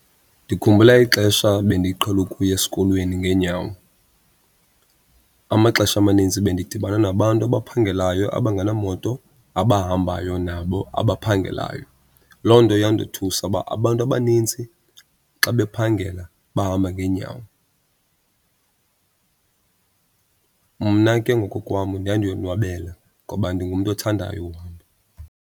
Ndikhumbula ixesha bendiqhele ukuya esikolweni ngeenyawo. Amaxesha amanintsi bendidibana nabantu abaphangelayo abangenamoto, abahambayo nabo abaphangelayo. Loo nto yandothusa uba abantu abanintsi xa bephangela bahamba ngeenyawo. Mna ke ngokokwam ndandiyonwabela ngoba ndingumntu othandayo uhamba.